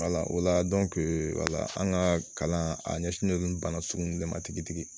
wala an ka kalan a ɲɛsinnen don bana sugu bɛɛ ma tigitigi